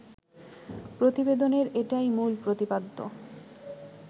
প্রতিবেদনের এটাই মূল প্রতিপাদ্য